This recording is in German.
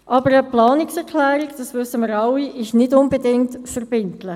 Aber wie wir alle wissen, ist eine Planungserklärung nicht unbedingt verbindlich.